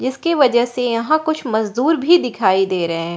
इसकी वजह से यहां कुछ मजदूर भी दिखाई दे रहे हैं।